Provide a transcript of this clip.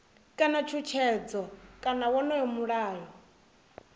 kana tshutshedzo kana wonoyo mulayo